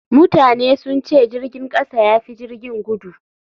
Mutane sun ce jirgin kasa ya fi jirgin gudu.